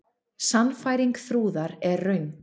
Sannfæring Þrúðar er röng.